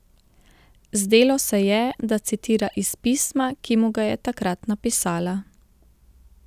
Zdelo se je, da citira iz pisma, ki mu ga je takrat napisala.